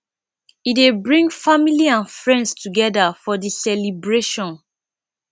e dey bring family and friends togeda for di celibration